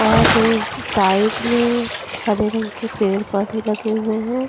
और साइड में हरे रंग के पेड़ पौधे लगे हुए हैं।